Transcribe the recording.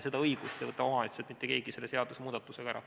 Seda õigust ei võta omavalitsuselt mitte keegi selle seadusemuudatusega ära.